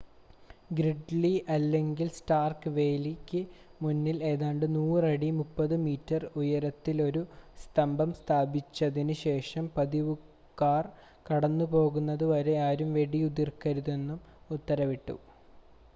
Gridley അല്ലെങ്കിൽ Stark വേലിക്ക് മുന്നിൽ ഏതാണ്ട് 100 അടി 30 മീറ്റർ ദൂരത്തിലൊരു സ്തംഭം സ്ഥാപിച്ചതിന് ശേഷം പതിവുകാർ കടന്നുപോകുന്നതുവരെ ആരും വെടിയുതിർക്കരുതെന്നും ഉത്തരവിട്ടു